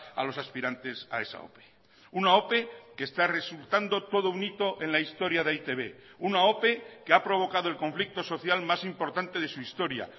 a los aspirantes a esa ope una ope que está resultando todo un hito en la historia de e i te be una ope que ha provocado el conflicto social más importante de su historia